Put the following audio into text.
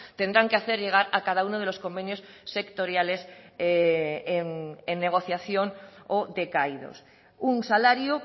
tendrán que hacer llegar a cada uno de los convenios sectoriales en negociación o decaídos un salario